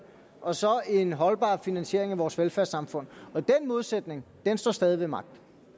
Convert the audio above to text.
og så en holdbar finansiering af vores velfærdssamfund og den modsætning står stadig ved magt